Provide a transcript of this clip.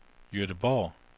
Gøteborg